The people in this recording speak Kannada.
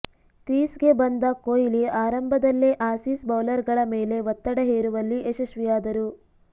ಕ್ರೀಸ್ಗೆ ಬಂದ ಕೊಹ್ಲಿ ಆರಂಭದಲ್ಲೇ ಆಸೀಸ್ ಬೌಲರ್ಗಳ ಮೇಲೆ ಒತ್ತಡ ಹೇರುವಲ್ಲಿ ಯಶಸ್ವಿಯಾದರು